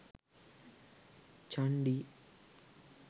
chandi